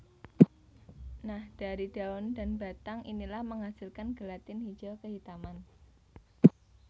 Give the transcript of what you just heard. Nah dari daun dan batang inilah menghasilkan gelatin hijau kehitaman